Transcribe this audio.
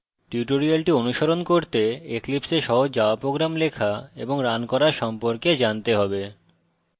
tutorial অনুসরণ করতে eclipse a সহজ java program লেখা এবং রান করা সম্পর্কে জানতে হবে